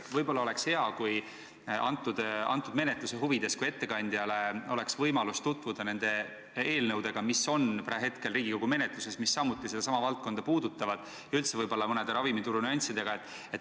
Võib-olla oleks menetluse huvides hea, kui ettekandjal oleks võimalus tutvuda nende eelnõudega, mis on Riigikogu menetluses ja mis sedasama valdkonda puudutavad, ja üldse ravimituru teatud nüanssidega.